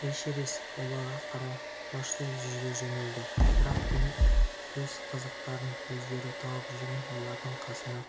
эшерест оларға қарай құлаштай жүз жөнелді бірақ кенет өз қызықтарын өздері тауып жүрген олардың қасына